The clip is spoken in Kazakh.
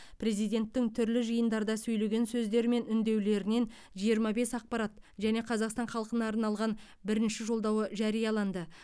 президенттің түрлі жиындарда сөйлеген сөздері мен үндеулерінен жиырма бес ақпарат және қазақстан халқына арналған бірінші жолдауы жарияланды